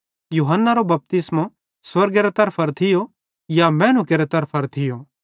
यूहन्नारो बपतिस्मो स्वर्गेरे तरफां थियो या मैनू केरे तरफां थियो